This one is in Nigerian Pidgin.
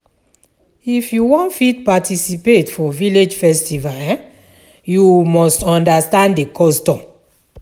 If you wan fit participate for village festival um, you must understand the custom.